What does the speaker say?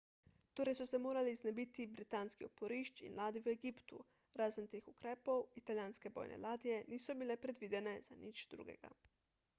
torej so se morali znebiti britanskih oporišč in ladij v egiptu razen teh ukrepov italijanske bojne ladje niso bile predvidene za nič drugega